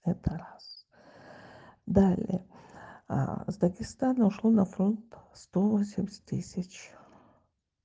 это раз далее с дагестана ушло на фронт сто семьдесят тысячь